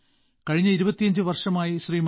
കഴിഞ്ഞ ഇരുപത്തിയഞ്ച് വർഷമായി ശ്രീ